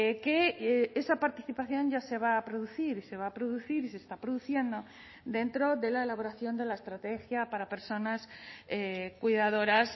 que esa participación ya se va a producir se va a producir y se está produciendo dentro de la elaboración de la estrategia para personas cuidadoras